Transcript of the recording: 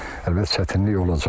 Əlbəttə çətinlik olacaq.